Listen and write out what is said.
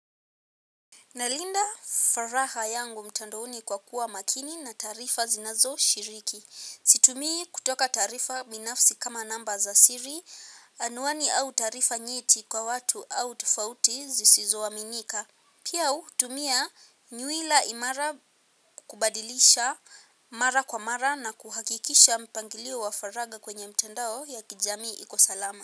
Nalinda furaha yangu mtandaoni kwa kuwa makini na taarifa zinazoshiriki. Situmii kutoka taarifa binafsi kama namba za siri, anuani au taarifa nyeti kwa watu au tufouti zisizoaminika. Piau tumia nywila imara, kubadilisha mara kwa mara na kuhakikisha mpangilio wa faragha kwenye mtandao ya kijamii iko salama.